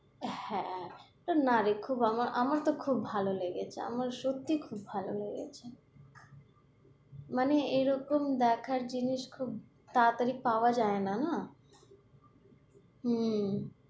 হ্যাঁ, তো না রে আমার~আমার তো খুব ভালো লেগেছে, আমার সত্যিই খুব ভালো লেগেছে মানে এরকম দেখার জিনিস খুব তাড়াতাড়ি পাওয়া যায় না, না উম